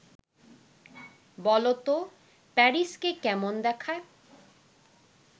বলো তো. প্যারিসকে কেমন দেখায়